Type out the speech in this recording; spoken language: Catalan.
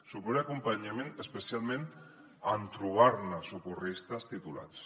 suport i acompanyament especialment en trobar socorristes titulats